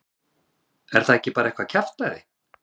Er það ekki bara eitthvað kjaftæði?